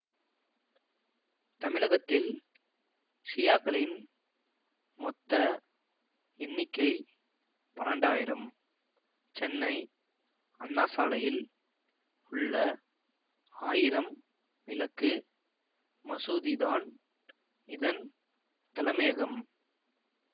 தமிழகத்தில் ஷியாக்களின் மொத்த எண்ணிக்கை பன்னெண்டு ஆயிரம் சென்னை அண்ணா சாலையில் உள்ள ஆயிரம்விளக்கு மசூதிதான் இதன் தலமையகம்